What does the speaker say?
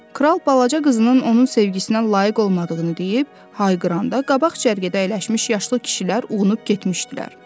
Kral balaca qızının onun sevgisinə layiq olmadığını deyib, hayqıranda qabaq cərgədə əyləşmiş yaşlı kişilər uğunub getmişdilər.